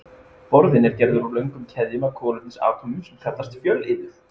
Borðinn er gerður úr löngum keðjum af kolefnisatómum sem kallast fjölliður.